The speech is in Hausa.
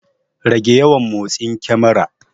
Rage yawan motsin kemarar.